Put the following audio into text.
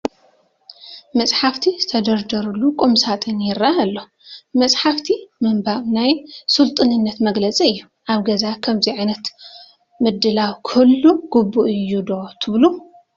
መፃሕቲ ዝተደርደረሉ ቁም ሳጥን ይርአ ኣሎ፡፡ መፃሕፍቲ ምንባብ ናይ ስልጡንነት መግለፂ እዩ፡፡ ኣብ ገዛ ከምዚ ዓይነት ምድላው ክህሉ ግቡእ እዩ ዶ ትብሉ?